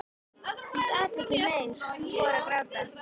Ég gat ekki meir og fór að gráta.